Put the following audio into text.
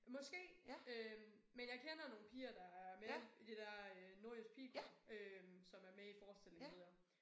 Måske øh men jeg kender nogle piger der er med i det dér øh Nordjysk Pigekor øh som er med i forestillingen ved jeg